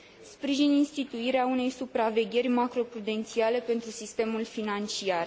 Sprijin instituirea unei supravegheri macroprudențiale pentru sistemul financiar.